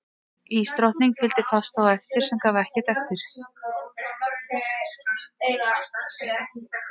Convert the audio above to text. Ísdrottningi fylgdi fast á eftir og gaf ekkert eftir.